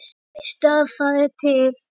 Veistu að það er til?